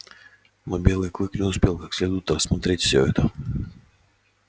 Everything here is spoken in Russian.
но белый клык не успел как следует рассмотреть всё это